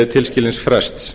tilskilins frests